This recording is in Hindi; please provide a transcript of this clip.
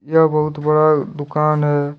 यह बहुत बड़ा दुकान है।